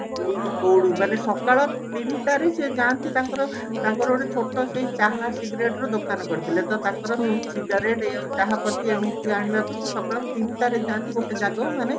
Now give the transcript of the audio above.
ମାନେ ସକାଳ ସିଏ ଯାନ୍ତି ତାଙ୍କର ତାଙ୍କର ସେ ଛୋଟ ସେଇ ଚାହା cigarate ର ଦୋକାନ ପଡିଥିଲା ତ ତାଙ୍କର cigarate ଆଉ ଏଇ ଚାହା ପଟି ଏମିତି ଆଣିବାକୁ ସେ ସକାଳ ତିନିଟା ରେ ଯାନ୍ତି ଗୋଟେ ଜାଗାକୁ ମାନେ